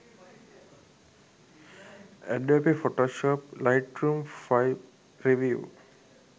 adobe photoshop lightroom 5 review